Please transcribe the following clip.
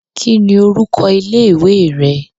Kí ni orúkọ ilé ìwé rẹ.